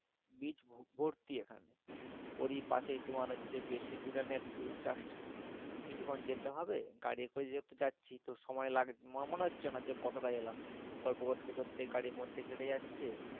beach ভরতি এখানে ওরই পাশে তোমার হচ্ছে বেশি দূরে না একটু just কিছুক্ষন যেতে হবে গাড়ি করে যেহেতু যাচ্ছি তো সময় লাগবে না মনে হচ্ছে না যে কতটা এলাম গল্প করতে করতে গাড়ির মধ্যে ই কেটে যাচ্ছে,